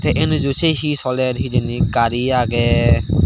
tey eneju sey hi soler hijeni gari agey.